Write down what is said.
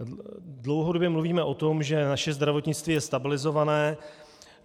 Dlouhodobě mluvíme o tom, že naše zdravotnictví je stabilizované.